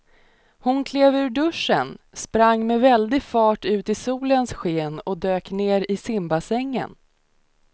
Hon klev ur duschen, sprang med väldig fart ut i solens sken och dök ner i simbassängen.